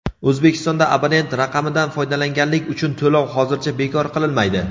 O‘zbekistonda abonent raqamidan foydalanganlik uchun to‘lov hozircha bekor qilinmaydi.